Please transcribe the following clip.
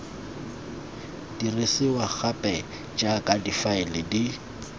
dirisiwa gape jaaka difaele di